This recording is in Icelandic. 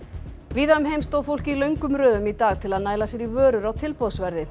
víða um heim stóð fólk í löngum röðum í dag til að næla sér í vörur á tilboðsverði